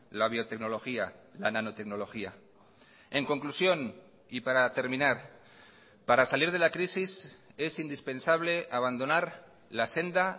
la biotecnología la nanotecnología en conclusión y para terminar para salir de la crisis es indispensable abandonar la senda